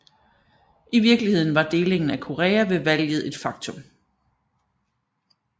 I virkeligheden var delingen af Korea ved valget et faktum